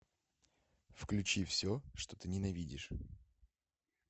включи все что ты ненавидишь